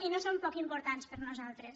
i no són poc importants per nosaltres